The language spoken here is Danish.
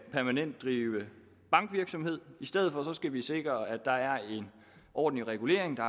drive bankvirksomhed i stedet for skal vi sikre at der er en ordentlig regulering og